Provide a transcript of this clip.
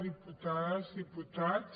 diputades diputats